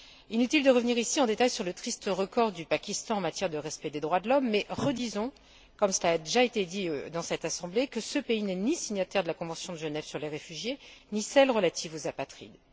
Inutile de revenir ici en détail sur le triste record du Pakistan en matière de respect des droits de l'homme, mais redisons, comme cela a déjà été dit dans cette Assemblée, que ce pays n'est ni signataire de la convention de Genève sur les réfugiés ni de celle relative aux apatrides.